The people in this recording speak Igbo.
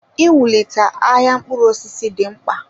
Iwulite ahịa mkpụrụ osisi dị mkpa.